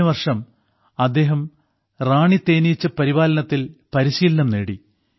കഴിഞ്ഞവർഷം അദ്ദേഹം റാണി തേനീച്ച പരിപാലനത്തിൽ പരിശീലനം നേടി